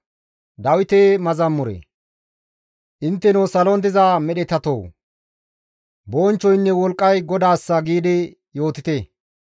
Intteno salon diza medhetatoo! «Bonchchoynne wolqqay GODAASSA» giidi yootite.